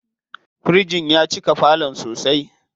Firijin ya cika falon sosai.